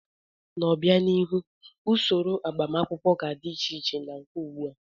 N'obianihu, usoro agbamakwụkwọ ga-adị iche na nke ugbu a.